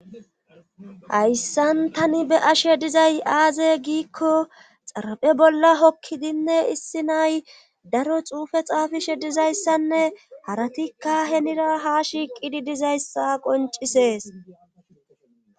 Hayssan tani be7ashe dizay aaze giikko xaraphe bolla hokkidinne issi nay daro xuufe xaafishe dizayssanne haratikka henira ha shiiqidi dizayssa qoncisees